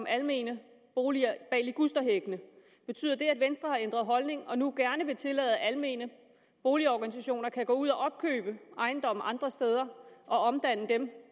almene boliger bag ligusterhækkene betyder det at venstre har ændret holdning og nu gerne vil tillade at almene boligorganisationer kan gå ud og opkøbe ejendomme andre steder og omdanne dem